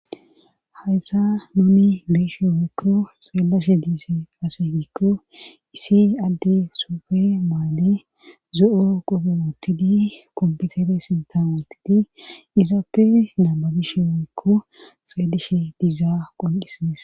Haysa nuni be'eshe woykko xeelashe diise ase gikko isi adde suufe maale zo7o qope woottidi kompitere sintan woottidi izaappe naababishe woykko xeelishe diizaa qonqisidis.